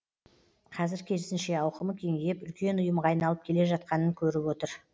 қазір керісінше ауқымы кеңейіп үлкен ұйымға айналып келе жатқанын көріп отыр